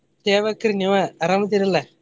ಹೇಳಬೇಕ್ರಿ ನೀವ ಅರಾಮ್ ಅದೇರಿ ಅಲ್ಲ?